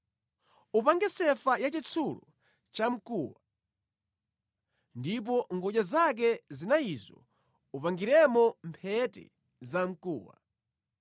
Upange sefa yachitsulo chamkuwa ndipo mʼngodya zake zinayizo upangiremo mphete zamkuwa.